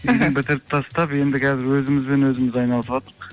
үйді бітіріп тастап енді қазір өзімізбен өзіміз айналысватырқ